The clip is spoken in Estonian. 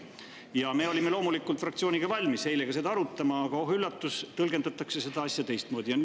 Ja me olime loomulikult fraktsiooniga valmis eile seda arutama, aga oh üllatust, siis tõlgendati seda asja teistmoodi.